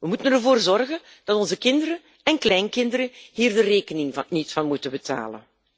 We moeten ervoor zorgen dat onze kinderen en kleinkinderen hier de rekening niet van moeten betalen.